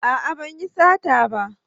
A'a ban yi sata ba